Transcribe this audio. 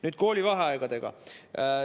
Nüüd koolivaheajast.